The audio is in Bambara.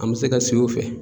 An bɛ se ka sigi o fɛ.